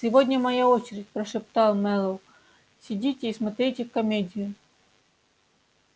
сегодня моя очередь прошептал мэллоу сидите и смотрите комедию